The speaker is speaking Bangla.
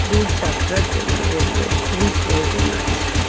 দূর যাত্রার জন্য রেলওয়ে -র খুবই প্রয়োজন আছে।